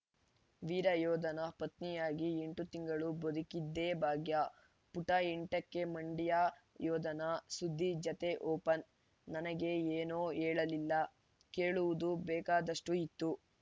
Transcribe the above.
ವೀರಯೋಧನ ಪತ್ನಿಯಾಗಿ ಎಂಟು ತಿಂಗಳು ಬದುಕಿದ್ದೇ ಭಾಗ್ಯ ಪುಟ ಎಂಟಕ್ಕೆ ಮಂಡ್ಯ ಯೋಧನ ಸುದ್ದಿ ಜತೆ ಓಪನ್‌ ನನಗೆ ಏನೂ ಹೇಳಲಿಲ್ಲ ಕೇಳುವುದು ಬೇಕಾದಷ್ಟುಇತ್ತು